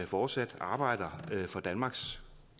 fortsat arbejder for danmarks